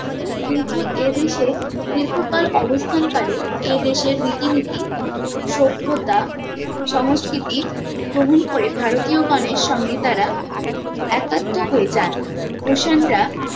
কিন্তু এ দেশে দীর্ঘকাল অবস্থান কালে এ দেশের রীতিনীতি সভ্যতা সংস্কৃতি ভ্রমণ করে ভারতীয় গনের সঙ্গে তারা একাত্ম হয়ে যান কুষাণরা